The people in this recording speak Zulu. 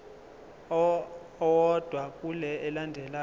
owodwa kule elandelayo